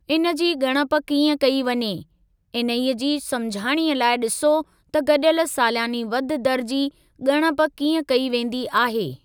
इन जी ॻणप कीअं कई वञे, इन्हे जी समुझाणीअ लाइ ॾिसो त गॾियल सालियानी वाधि दर जी ॻणप कीअं कई वेंदी आहे।